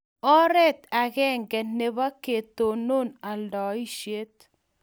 oret agenge nebo ketonon aldaishet